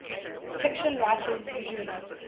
fiction writers usually